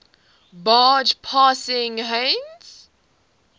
barge passing heinz